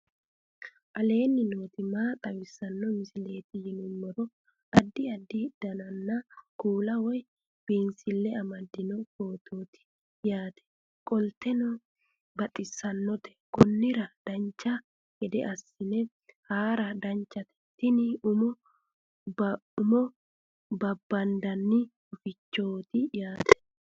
aleenni nooti maa xawisanno misileeti yinummoro addi addi dananna kuula woy biinsille amaddino footooti yaate qoltenno baxissannote konnira dancha gede assine haara danchate tini umo babandanni hufichooti yaate